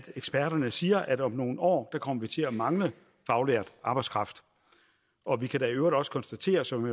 eksperterne siger at om nogle år kommer vi til at mangle faglært arbejdskraft og vi kan da i øvrigt også konstatere som